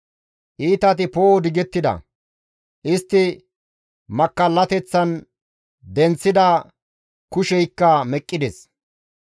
Iitati poo7o digettida; istti makkallateththan denththida kusheykka meqqides.